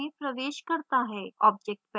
object palette पर जाएँ